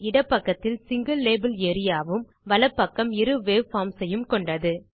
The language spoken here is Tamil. இடப்பக்கத்தில் சிங்கில் லேபல் ஏரியா வும் வலப்பக்கம் இரு வேவ்ஃபார்ம்ஸ் ஐயும் கொண்டது